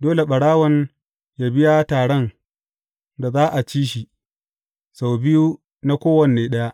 dole ɓarawon yă biya taran da za a ci shi, sau biyu na kowane ɗaya.